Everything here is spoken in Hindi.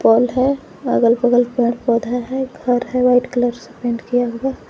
वाल है अगल बगल पेड़ पौधा है घर है व्हाइट कलर से पेंट किया हुआ।